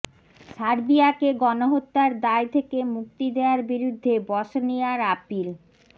সার্বিয়াকে গণহত্যার দায় থেকে মুক্তি দেয়ার বিরুদ্ধে বসনিয়ার আপিল